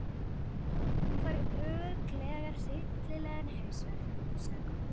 Hún fær örugglega hryllilegan hausverk, hugsaði Kobbi.